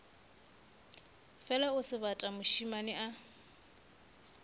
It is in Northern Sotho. fela o sebata mošemane a